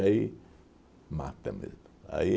mata mesmo.